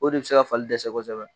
O de bɛ se ka fali dɛsɛ kosɛbɛ!